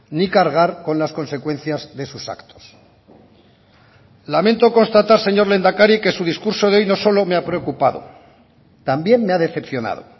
ni cargar con las consecuencias de sus actos lamento constatar señor lehendakari que su discurso de hoy no solo me ha preocupado también me ha decepcionado